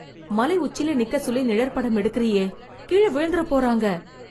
மலை உச்சில நிக்க சொல்லி நிழற்படம் எடுக்குறியே, கீழ விழுந்துறப் போறாங்க.